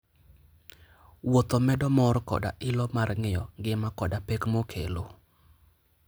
Wuotho medo mor koda ilo mar ng'eyo ngima koda pek mokelo.